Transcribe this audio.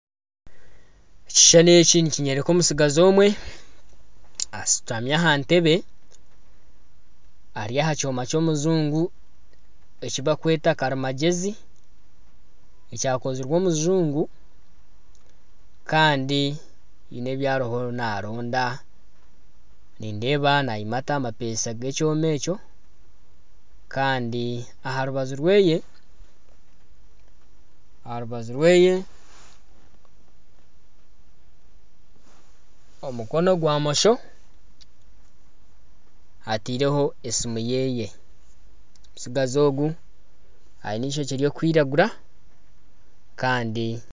Ekishushani eki nikinyoreka omutsigazi omwe ashutami aha ntebbe Ari aha kyoma kyomujungu ekibarikweeta karimagyezi ekyakozirwe omujungu Kandi haine ebi ariyo naronda nindeeba nayimata amapeesa g'ekyoma ekyo Kandi aharubaju rweye omukono gwa mosho ataireho esimu yeye ,omutsigazi ogu aine eishokye ririkwiragura